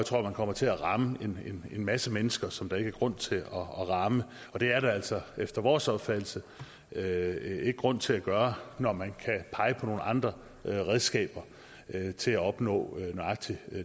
tror man kommer til at ramme en masse mennesker som der ikke er grund til at ramme det er der altså efter vores opfattelse ikke grund til at gøre når man kan pege på nogle andre redskaber til at opnå nøjagtig